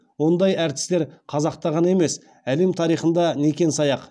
ондай әртістер қазақта ғана емес әлем тарихында некен саяқ